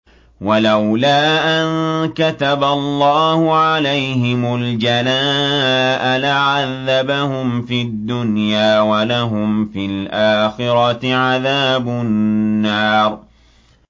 وَلَوْلَا أَن كَتَبَ اللَّهُ عَلَيْهِمُ الْجَلَاءَ لَعَذَّبَهُمْ فِي الدُّنْيَا ۖ وَلَهُمْ فِي الْآخِرَةِ عَذَابُ النَّارِ